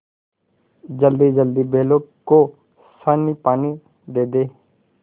जल्दीजल्दी बैलों को सानीपानी दे दें